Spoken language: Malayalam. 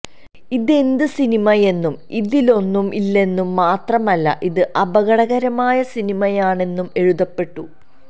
ഇതെന്ത് സിനിമയെന്നും ഇതിലൊന്നും ഇല്ലെന്നും മാത്രമല്ല ഇത് അപകടകരമായ സിനിമയാണെന്നും എഴുതപ്പെട്ടു